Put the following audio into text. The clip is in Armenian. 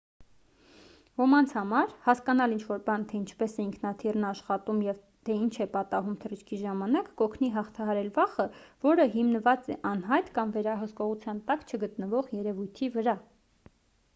ոմանց համար հասկանալ ինչ-որ բան թե ինչպես է ինքնաթիռն աշխատում և թե ինչ է պատահում թռիչքի ժամանակ կօգնի հաղթահարել վախը որը հիմնված է անհայտ կամ վերահսկողության տակ չգտնվող երևույթի վրա